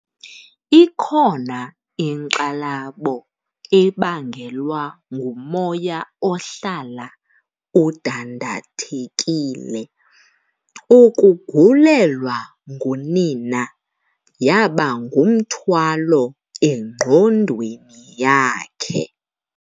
Ikhona inkxalabo ebangelwa ngumoya ohlala udandathekile. ukugulelwa ngunina yaba ngumthwalo engqondweni yakhe